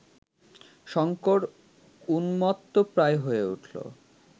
শঙ্কর উন্মত্তপ্রায় হয়ে উঠল